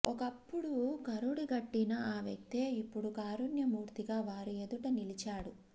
ఒకప్పుడు కరుడుగట్టిన ఆ వ్యక్తే ఇప్పుడు కారుణ్యమూర్తిగా వారి ఎదుట నిలిచాడు